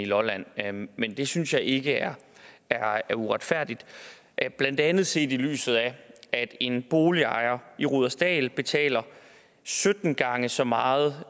lolland men det synes jeg ikke er er uretfærdigt blandt andet set i lyset af at en boligejer i rudersdal betaler sytten gange så meget